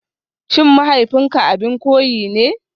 SHIN mahaifinka abin koyi ne?